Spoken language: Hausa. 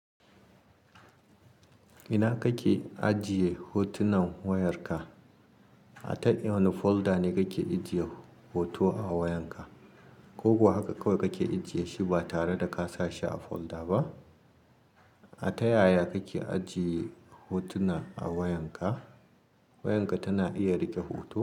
Ina kake ajiye hotunan wayarka? A ta wani folder ne kake ajiye hoto a wayar ka? Ko ko haka kawai kake ajiye shi ba tare da ka sa shi a folder ba? A ta yaya kake ajiye hotuna a wayar ka? Wayarka tana iya riƙe hoto?